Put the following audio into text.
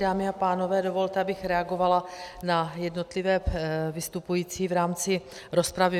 Dámy a pánové, dovolte, abych reagovala na jednotlivé vystupující v rámci rozpravy.